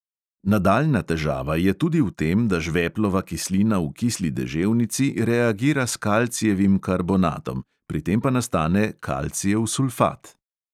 Nadaljnja težava je tudi v tem, da žveplova kislina v kisli deževnici reagira s kalcijevim karbonatom, pri tem pa nastane kalcijev sulfat.